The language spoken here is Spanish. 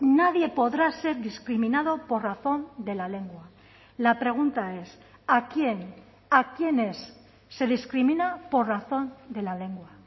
nadie podrá ser discriminado por razón de la lengua la pregunta es a quién a quiénes se discrimina por razón de la lengua